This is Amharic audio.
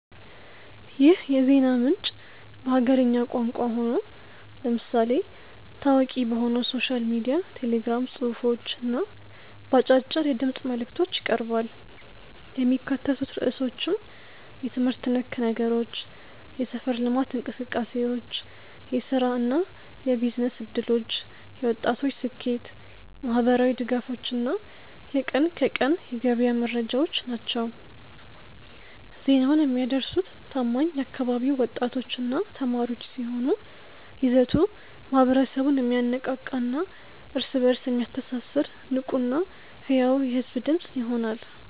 ይህ የዜና ምንጭ በሀገርኛ ቋንቋ ሆኖ፣ ለምሳሌ ታዋቂ በሆነው ሶሻል ሚዲያ ቴሌግራም ጽሑፎች እና በአጫጭር የድምፅ መልዕክቶች ይቀርባል። የሚካተቱት ርዕሶችም የትምህርት ነክ ነገሮች፣ የሰፈር ልማት እንቅሰቃሴዎች፣ የሥራና የቢዝነስ ዕድሎች፣ የወጣቶች ስኬት፣ ማኅበራዊ ድጋፎች እና የቀን ከቀን የገበያ መረጃዎች ናቸው። ዜናውን የሚያደርሱት ታማኝ የአካባቢው ወጣቶችና ተማሪዎች ሲሆኑ፣ ይዘቱ ማኅበረሰቡን የሚያነቃቃና እርስ በእርስ የሚያስተሳስር ንቁና ሕያው የሕዝብ ድምፅ ይሆናል።